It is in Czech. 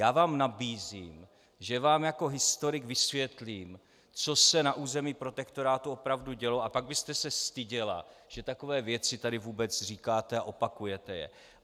Já vám nabízím, že vám jako historik vysvětlím, co se na území protektorátu opravdu dělo, a pak byste se styděla, že takové věci tady vůbec říkáte a opakujete je.